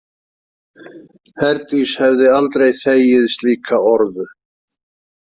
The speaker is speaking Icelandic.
Herdís hefði aldrei þegið slíka orðu.